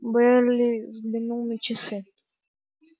байерли взглянул на часы